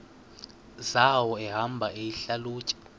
zawo ehamba eyihlalutya